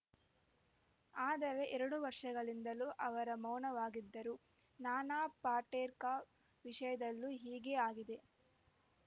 ಆದರೆ ಎರಡು ವರ್ಷಗಳಿಂದಲೂ ಅವರು ಮೌನವಾಗಿದ್ದರು ನಾನಾ ಪಾಟೇರ್ಕ ವಿಷಯದಲ್ಲೂ ಹೀಗೇ ಆಗಿದೆ